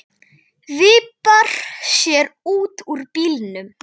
Vippar sér út úr bílnum.